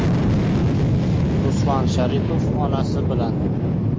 Ruslan Sharipov onasi bilan.